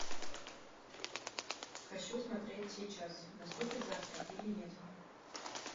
хочу смотреть сейчас наступит завтра или нет